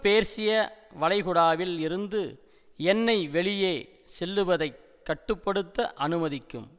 பேர்சிய வளைகுடாவில் இருந்து எண்ணெய் வெளியே செல்லுவதைக் கட்டு படுத்த அனுமதிக்கும்